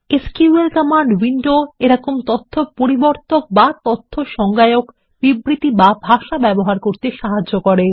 এই SQL command উইন্ডোতে আমাদের তথ্য পরিবর্তন এবং তথ্য সংজ্ঞা বিবৃতি বা ভাষা ব্যবহার করতে সাহায্য করে